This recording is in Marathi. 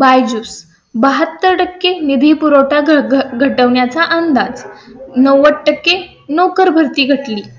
byju's बहात्तर टक्के निधी पुरवठा घटण्या चा अंदाज नव्वद नोकरभरती घटली.